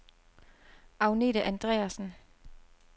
Agnethe Andreassen